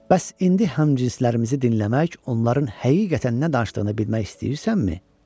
Bəs indi həmcinslərimizi dinləmək, onların həqiqətən nə danışdığını bilmək istəyirsənmi?